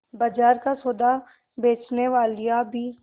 बाजार का सौदा बेचनेवालियॉँ भी